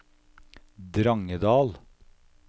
Drangedal